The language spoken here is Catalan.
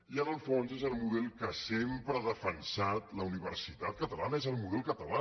i en el fons és el model que sempre ha defensat la universitat catalana és el model català